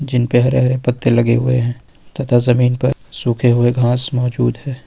जिन पे हरे हरे पत्ते लगे हुए हैं तथा जमीन पर सूखे हुए घास मौजूद हैं।